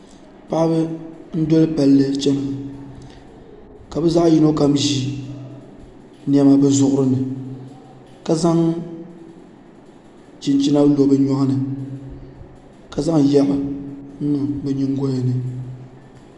Paɣaba n doli palli chɛna ka bi zaɣ yino kam ʒi niɛma bi zuɣuri ni ka zaŋ chinchina lo bi nyoɣani ka zaŋ yɛri n niŋ bi nyingoya ni